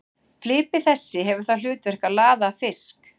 Flipi þessi hefur það hlutverk að laða að fisk.